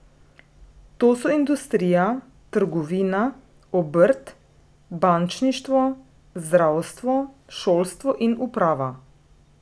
To so industrija, trgovina, obrt, bančništvo, zdravstvo, šolstvo in uprava.